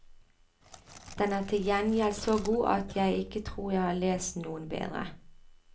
Den er til gjengjeld så god at jeg ikke tror jeg har lest noen bedre.